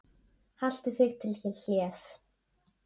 Haltu þig til hlés.